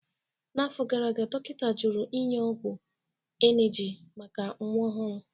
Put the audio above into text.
N'afọ gara aga, dọkịta jụrụ inye ọgwụ emgyl maka nwa ọhụrụ